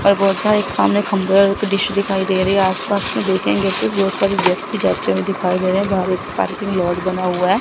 और बहुत सारे सामने खंभे और एक डिश दिखाई दे रही आसपास में दो तीन जैसे बहुत सारे व्यक्ति जाते हुए दिखाई दे रहे हैं बाहर एक पार्किंग लॉट बना हुआ है।